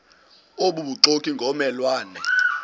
obubuxoki ngomme lwane